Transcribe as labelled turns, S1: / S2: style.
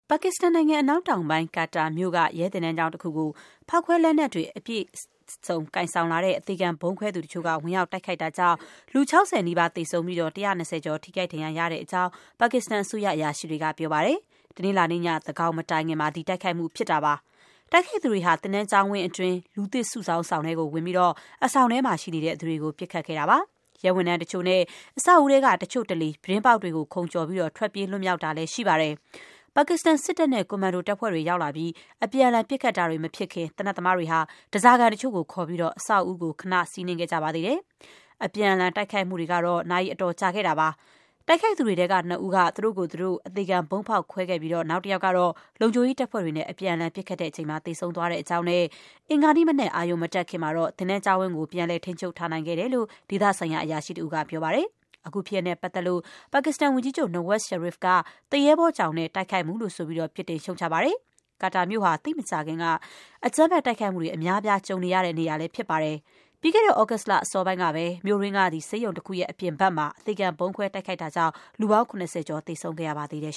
S1: ပါကစ္စတန်နိုင်ငံ အနောက်တောင်ပိုင်း Quetta မြို့က ရဲသင်တန်းကျောင်းတခုကို ဖောက်ခွဲလက်နက် အပြည့်စုံ ကိုင်ဆောင်လာတဲ့ အသေခံဗုံးခွဲသူတချို့ ဝင်ရောက် တိုက်ခိုက်တာကြောင့် လူ ၆၀ နီးပါး သေဆုံးပြီး ၁၂၀ ကျော် ထိခိုက် ဒဏ်ရာရတဲ့အကြောင်း ပါကစ္စတန် အစိုးရ အရာရှိတွေက ပြောပါတယ်။ တနင်္လာနေ့ည သန်းခေါင်မတိုင်ခင်မှာ ဒီတိုက်ခိုက်မှုဖြစ်တာပါ။ တိုက်ခိုက်သူတွေဟာ သင်တန်း ကျောင်းဝန်းအတွင်း လူသစ်စုဆောင်းဆောင် ထဲကို ဝင်ပြီး အဆောင်ထဲမှာရှိနေတဲ့ သူတွေကို ပစ်ခတ်ခဲ့တာပါ။ ရဲဝန်ထမ်းတချို့နဲ့ အဆောက်အဦးထဲက တချို့တလေ ပြတင်းပေါက်တွေကို ခုန်ကျော်ပြီး ထွက်ပြေးလွှတ်မြောက်သွားတာလည်း ရှိပါတယ်။ ပါကစ္စတန် စစ်တပ်နဲ့ ကွန်မန်ဒိုတပ်ဖွဲ့တွေ ရောက်လာပြီး အပြန်အလှန်ပစ်ခတ်တာတွေ မဖြစ်ခင် သေနတ်သမားတွေဟာ ဓါးစားခံတချို့ကို ခေါ်ပြီး အဆောက်အဦးကို ခဏ စီးနင်းခဲ့ကြပါသေးတယ်။ အပြန်အလှန် တိုက်ခိုက်မှုတွေကတော့ နာရီအတော်ကြာခဲ့တာပါ။ တိုက်ခိုက်သူတွေထဲက နှစ်ဦးက သူတို့ကိုယ်သူတို့ အသေခံ ဗုံးဖောက်ခွဲခဲ့ပြီး နောက်တယောက်ကတော့ လုံခြုံရေးတပ်ဖွဲ့တွေနဲ့ အပြန်အလှန် ပစ်ခတ်ချိန်မှာ သေဆုံး သွားတဲ့အကြောင်းနဲ့ အင်္ဂါနေ့မနက် အရုံမတက်ခင်မှာတော့ သင်တန်းကျောင်းဝင်းကို ပြန်လည် ထိန်းချုပ်နိုင်ခဲ့တယ်လို့ ဒေသဆိုင်ရာ အရာရှိတဦးက ပြောပါတယ်။ အခုဖြစ်ရပ်နဲ့ပတ်သက်လို့ ပါကစ္စတန်ဝန်ကြီးချုပ် Nawaz Sharif က သူရဲဘောကြောင်တဲ့ တိုက်ခိုက်မှုလို့ ဆိုပြီး ပြစ်တင်ရှုတ်ချပါတယ်။ Quetta မြို့ဟာ သိပ်မကြာခင်က အကြမ်းဖက်တိုက်ခိုက်မှုတွေ အများအပြား ကြုံခဲ့ရတဲ့နေရာပါ။ ပြီးခဲ့တဲ့ သြဂုတ်လ အစောပိုင်းကပဲ မြို့တွင်းက ဆေးရုံတခုရဲ့ အပြင်ဘက်မှာ အသေခံ ဗုံးခွဲတိုက်ခိုက်ခံရတာကြောင့် လူပေါင်း ၇၀ ကျော် သေဆုံးခဲ့ရပါတယ်